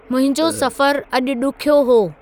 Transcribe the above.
मुंहिंजो सफ़रु अॼु ॾुख्यो हो